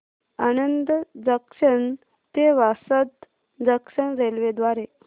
Anand junction ते Vasad junction railway द्वारे